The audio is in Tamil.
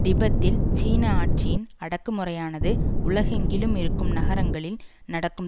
திபெத்தில் சீன ஆட்சியின் அடக்குமுறையானது உலகெங்கிலும் இருக்கும் நகரங்களில் நடக்கும்